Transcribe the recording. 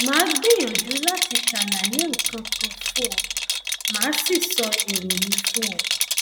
màá gbìyànjú láti ṣàlàyé nǹkan kan fún ọ màá sì sọ èrò mi fún ọ